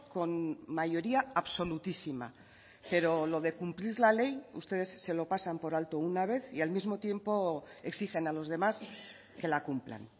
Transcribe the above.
con mayoría absolutísima pero lo de cumplir la ley ustedes se lo pasan por alto una vez y al mismo tiempo exigen a los demás que la cumplan